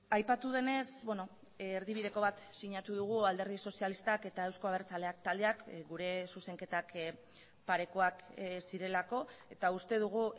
aipatu denez erdibideko bat sinatu dugu alderdi sozialistak eta euzko abertzaleak taldeak gure zuzenketak parekoak zirelako eta uste dugu